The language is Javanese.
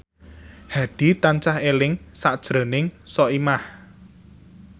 Hadi tansah eling sakjroning Soimah